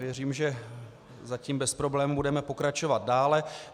Věřím, že zatím bez problémů budeme pokračovat dále.